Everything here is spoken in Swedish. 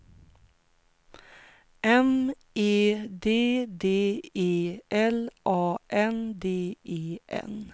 M E D D E L A N D E N